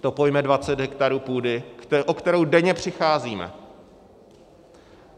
To pojme 20 hektarů půdy, o kterou denně přicházíme.